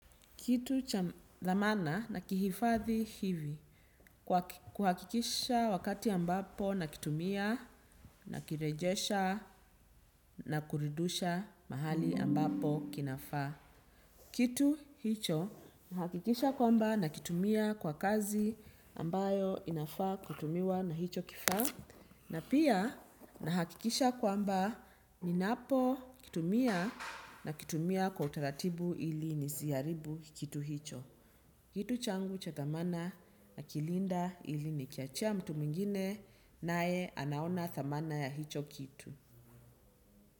Kitu cha dhamana nakihifadhi hivi kuhakikisha wakati ambapo nakitumia, nakirejesha na kuridisha mahali ambapo kinafaa. Kitu hicho nahakikisha kwamba nakitumia kwa kazi ambayo inafaa kutumiwa na hicho kifaa na pia nahakikisha kwamba ninapokitumia, nakitumia kwa utaratibu ili nisiharibu kitu hicho. Kitu changu cha dhamana nakilinda ili nikiachia mtu mingine naye anaona dhamana ya hicho kitu.